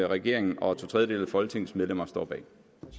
regeringen og to tredjedele af folketingets medlemmer står bag